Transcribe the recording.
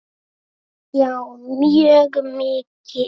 Já, mjög mikið.